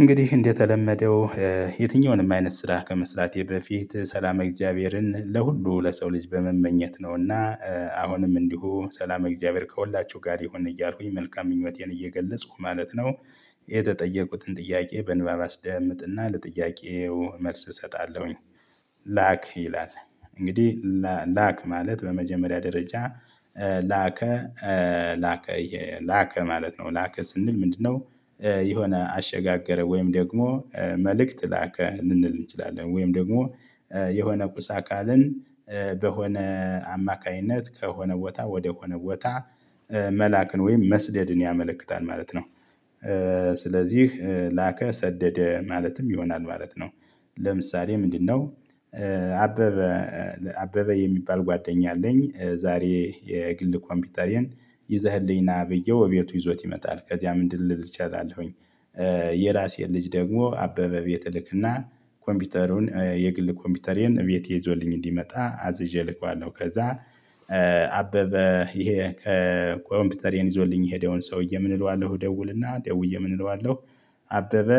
እንግዲህ እንደተለመደው የትኛውንም አይነት ስራ ከመስራቴ በፊት ሰላመ እግዚአብሔርን ለሁሉ ለሰው ልጅ በመመኘት ነውና አሁንም እንዲሁ ሰላም እግዚአብሔር ከሁላችሁ ጋር ይሁን እያልኩኝ መልካም ምኞቴን እየገለጹ ማለት ነው። የተጠየቁትን ጥያቄ በንባብ አስደምጥና ለጥያቄው መልስ እሰጣለሁኝ። ላክ ይላል። እንግዲህ ላክ ማለት በመጀመሪያ ደረጃ ላከ ላከ ማለት ነው ላከ ስንል ምንድነው? የሆነ አሸጋገረ ወይም ደግሞ መልእክት ላከ ልንል እንችላለን ወይም ደግሞ የሆነ ቁስ አካልን በሆነ አማካኝነት ከሆነ ቦታ ወደሆነ ቦታ መላክን ወይም መስደድን ያመለክታል ማለት ነው። ስለዚህ ላከ ሰደደ ማለትም ይሆናል ማለት ነው። ለምሳሌ ምንድነው? አበበ አበበ የሚባል ጓደኛ አለኝ ዛሬ የግል ኮምፒውተሪን ይዘህልኝ ና ብዬው እቤቱ ይዞት ይመጣል ከዚያም እንድልል እችላለሁኝ። የራሴን ልጅ ደግሞ አበበ ቤት እልክና ኮምፒውተሩን የግል ኮምፒውተሬን እቤት ይዞልኝ እንዲመጣ አዝዤ እልከዋለሁ ከዛ። አበበ ይሄ ከኮምፒውተር ይዞልኝ የሄደውን ሰውዬ ምን እለዋለሁ ደውልና ደውዬ ምን እለዋለሁ? አበበ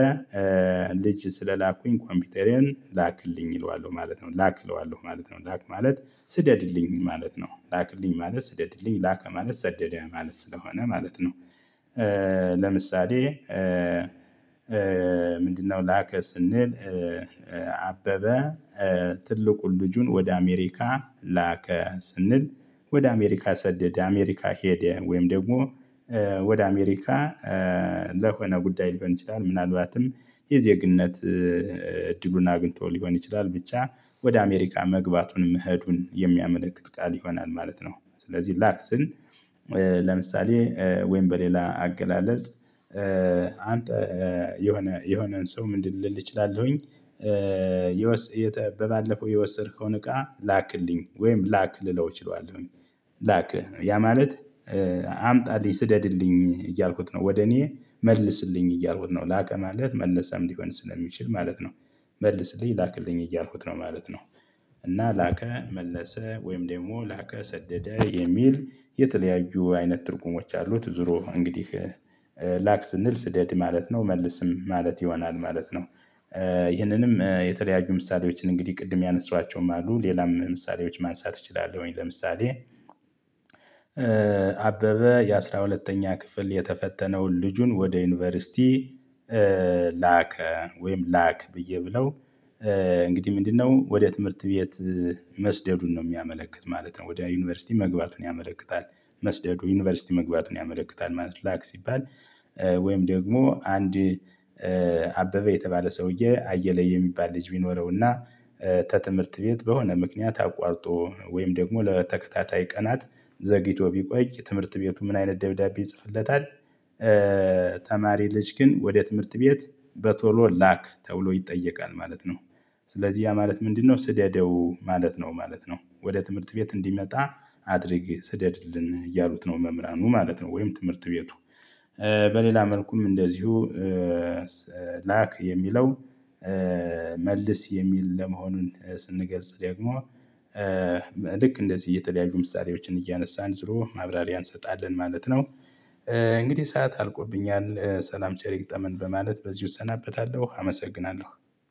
ልጅ ስለላኩኝ ኮምፒውተሬዬን ላክልኝ እለዋለሁ ማለት ነው ላክ እለዋለሁ ማለት ነው ላክ ማለት ስደድልኝ ማለት ነው ላክልኝ ማለት ስደድልኝ ላከ ማለት ሰደደ ማለት ስለሆነ ማለት ነው። ለምሳሌ ምንድነው? ላከ ስንል አበበ ትልቁን ልጁን ወደ አሜሪካ ላከ ስንል ወደ አሜሪካ ሰደድ አሜሪካ ሄደ ወይም ደግሞ ወደ አሜሪካ ለሆነ ጉዳይ ሊሆን ይችላል ምናልባትም የዜግነት እድሉን አግኝቶ ሊሆን ይችላል ብቻ ወደ አሜሪካ መግባቱን መሄዱን የሚያመለክት ቃል ይሆናል ማለት ነው። ስለዚህ ላክ ስል ለምሳሌ ወይም በሌላ አገላለጽ አንተ የሆነ የሆነን ሰው ምንድን ልል እችላለሁኝ። የተ ባለፈው የወሰድከውን እቃ ላክልኝ ወይም ላክ ልለው እችላለሁ። ላክ ያ ማለት አምጣልኝ ስደድልኝ እያልኩት ነው ወደ እኔ መልስልኝ እያልኩት ነው ላከ ማለት መልሰም ሊሆን ስለሚችል ማለት ነው። መልስልኝ ላክልኝ እያልኩት ነው ማለት ነው። እና ላከ መለሰ ወይም ደግሞ ላከ ሰደደ የሚል የተለያዩ አይነት ትርጉሞች አሉት ዙሮ እንግዲህ ላክ ስንል ስደት ማለት ነው መልስም ማለት ይሆናል ማለት ነው። ይህንንም የተለያዩ ምሳሌዎችን እንግዲህ ቅድም ያነሷቸውም አሉ ሌላም ምሳሌዎች ማንሳት እችላለሁኝ ለምሳሌ። አበበ የአሥራ ሁለተኛ ክፍል የተፈተነውን ልጁን ወደ ዩኒቨርሲቲ ላከ ወይም ላክ ብዬ ብለው እንግዲህ ምንድነው ወደ ትምህርት ቤት መስደዱን ነው የሚያመለክት ማለት ነው። ወደ ዩኒቨርሲቲ መግባቱን ያመለክታል። መስደዱ ዩኒቨርሲቲ መግባቱን ያመለክታል ማለት ላክ ሲባል። ወይም ደግሞ አንድ አበበ የተባለ ሰውዬ አየለ የሚባል ልጅ ቢኖረውና ተትምህርት ቤት በሆነ ምክንያት አቋርጦ ወይም ደግሞ ለተከታታይ ቀናት ዘግይቶ ቢቆይ ትምህርት ቤቱ ምን አይነት ደብዳቤ ይጽፍለታል? ተማሪ ልጅክን ወደ ትምህርት ቤት በቶሎ ላክ ተብሎ ይጠየቃል ማለት ነው። ስለዚህ ያ ማለት ምንድነው? ስደደው ማለት ነው ማለት ነው ወደ ትምህርት ቤት እንዲመጣ አድርግ ስደድልን እያሉት ነው መምራኑ ማለት ነው። ወይም ትምህርት ቤቱ በሌላ መልኩም እንደዚሁ ላክ የሚለው መልስ የሚል ለመሆኑን ስንገልጽ ደግሞ ልክ እንደዚህ የተለያዩ ምሳሌዎችን እያነሳን ዞሮ ማብራሪያ እንሰጣለን ማለት ነው። እንግዲህ ሰዓት አልቆብኛል ሰላም ቸር ይግጠመን በማለት በዚህ እሰናበታለሁ አመሰግናለሁ